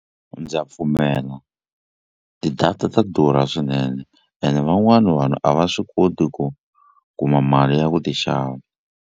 Ndza pfumela ti-data ta durha swinene ene van'wani vanhu a va swi koti ku kuma mali ya ku ti xava.